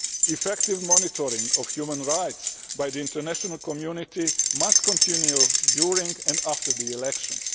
Effective monitoring of human rights by the international community must continue during and after the elections.